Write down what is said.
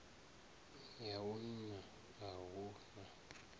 ya vhuṋa a hu na